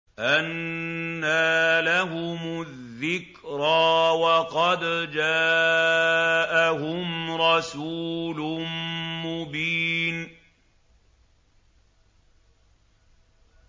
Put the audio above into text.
أَنَّىٰ لَهُمُ الذِّكْرَىٰ وَقَدْ جَاءَهُمْ رَسُولٌ مُّبِينٌ